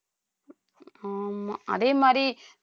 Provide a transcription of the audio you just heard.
ஆமா அதே மாதிரி